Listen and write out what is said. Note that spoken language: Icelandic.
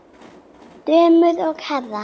Dömur og herrar!